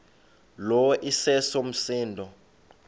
lo iseso msindo